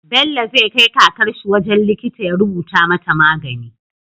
Bello zai kai kakarshi wajan likita ya rubuta mata magani